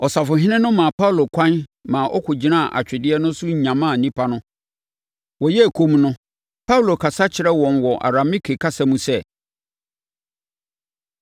Ɔsafohene no maa Paulo ɛkwan ma ɔgyinaa atwedeɛ no so nyamaa nnipa no. Wɔyɛɛ komm no, Paulo kasa kyerɛɛ wɔn wɔ Arameike kasa mu sɛ: